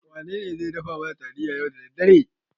Wanene zai dafa mana taliya yau da daddare?